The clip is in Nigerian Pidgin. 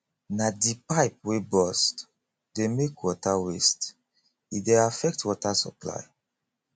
na di pipe wey burst dey make water waste e dey affect water supply